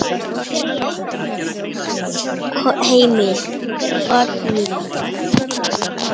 Heimir: Oddný?